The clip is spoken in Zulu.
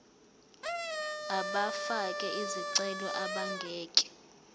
abafake izicelo abangeke